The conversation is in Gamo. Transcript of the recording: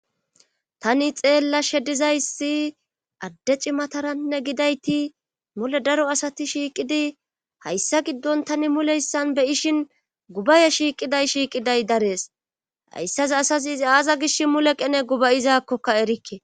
Tani xeellashe dizayssi adde cimataranne gidayti mule daro asati shiiqidi hayssa giddon tani mulehssan beyishin gubaye shiiqiday shiiqiday darees hayssaza asas izi aaza gish mule qene gubayizakkoka erikke.